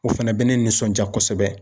O fɛnɛ bɛ ne nisɔndiya kosɛbɛ